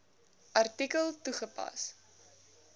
artikel toegepas